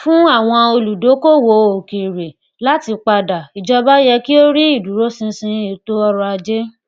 fún àwọn olùdókòwò òkèèrè láti padà ìjọba yẹ kí ó ríi ìdúróṣinṣin ètò ọrọajé